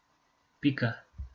Pika.